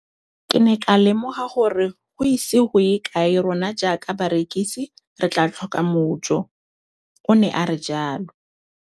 Ke ne ka lemoga gore go ise go ye kae rona jaaka barekise re tla tlhoka mojo, o ne a re jalo.